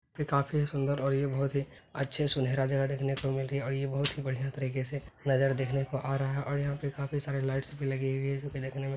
ये काफी सुन्दर और ये बहुत ही अच्छे सुनहरा जगह देखने को मिल रही है और ये बहुत ही बढ़िया तरीके से नजर देखने को आ रहा है और यहाँ पर काफी सारी लाइट्स भी लगी हुई है जो कि देखने में --